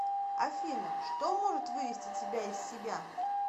афина что может вывести тебя из себя